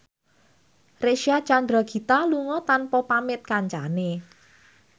Reysa Chandragitta lunga tanpa pamit kancane